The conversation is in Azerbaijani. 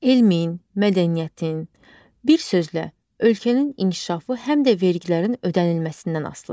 Elmin, mədəniyyətin, bir sözlə, ölkənin inkişafı həm də vergilərin ödənilməsindən asılıdır.